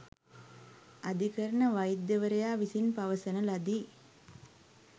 අධිකරණ වෛද්‍යවරයා විසින් පවසන ලදී